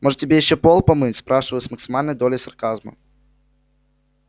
может тебе ещё пол помыть спрашиваю с максимальной долей сарказма